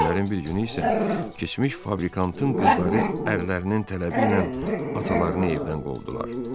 Günlərin bir günü isə keçmiş fabrikantın qızları ərlərinin tələbi ilə atalarını evdən qovdular.